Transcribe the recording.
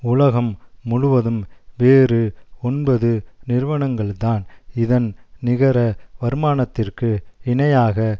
உலகம் முழுவதும் வேறு ஒன்பது நிறுவனங்கள்தான் இதன் நிகர வருமானத்திற்கு இணையாக